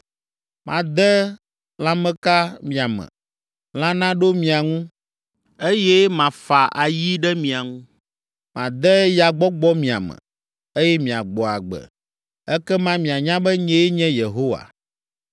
Made lãmeka mia me, lã naɖo mia ŋu, eye mafa ayi ɖe mia ŋu. Made yagbɔgbɔ mia me, eye miagbɔ agbe. Ekema mianya be nyee nye Yehowa.’ ”